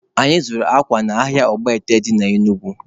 Anyị zụrụ akwa n'ahịa Ọgbọete dị na Enugu